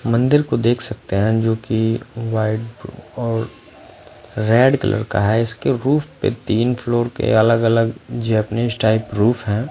मंदिर को देख सकते हैं जोकि वाइट ब और रेड कलर का है इसके रूफ पे तीन फ्लोवर पे अलग अलग जेपनीज़ टाइप रूफ है।